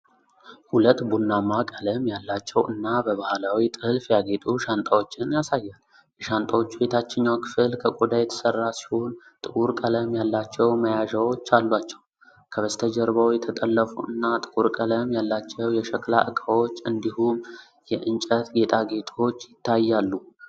ሁለት ቡናማ ቀለም ያላቸው እና በባህላዊ ጥልፍ ያጌጡ ሻንጣዎችን ያሳያል። የሻንጣዎቹ የታችኛው ክፍል ከቆዳ የተሠራ ሲሆን፤ ጥቁር ቀለም ያላቸው መያዣዎች አሏቸው። ከበስተጀርባው የተጠለፉ እና ጥቁር ቀለም ያላቸው የሸክላ ዕቃዎች እንዲሁም የእንጨት ጌጣጌጦች ይታያሉ።